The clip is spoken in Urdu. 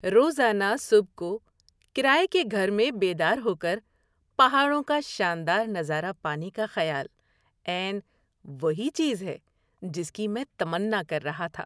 روزانہ صبح کو کرایہ کے گھر میں بیدار ہو کر پہاڑوں کا شاندار نظارہ پانے کا خیال عین وہی چیز ہے جس کی میں تمنا کر رہا تھا۔